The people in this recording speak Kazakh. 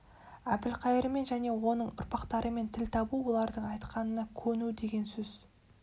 әбілқайырмен және оның ұрпақтарымен тіл табу олардың айтқанына көну деген сөз